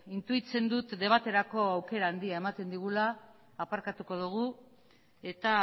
intuitzen dut debaterako aukera handia ematen digula aparkatuko dugu eta